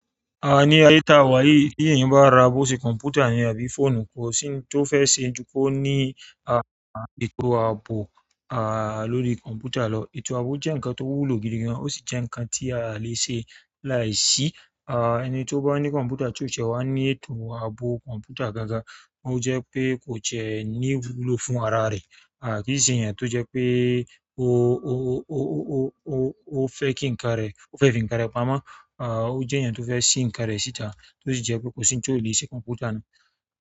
Ah ní ayé tá wá yìí tí èyin bá ra bó ṣe kọ̀m̀pútà yẹn àbí phone kò sì ní tó fẹ́ ṣe ní kí ó ní à ètò àbò à lórí kọ̀m̀pútà lọ. Ètò àbò jẹ́ ǹnkan tó wúlò gidi gan ò sì jẹ́ ǹnkan tí a le ṣe láì sí. Ah ẹni tó bá ní kọ̀m̀pútà tí ó tiẹ wá ní ètò àbò kọ̀m̀pútà gangan ó jẹ́ pé kò jẹ́ ní iwúlò fún ara rẹ̀. À kí i ṣe ènìyàn tó jẹ́ pé ó ó ó ó ó fẹ́ kí ǹnkan rẹ̀ ó fẹ́ fín ǹnkan rẹ̀ pamọ́. À ó jẹ́ eeyan tó fẹ́ ṣí ǹnkan rẹ̀ síta tó sì jẹ́ pé kò sí nti o le ṣe kọ̀m̀pútà náà.